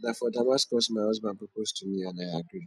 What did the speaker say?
na for damascus my husband propose to me and i agree